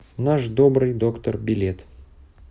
наш добрый доктор билет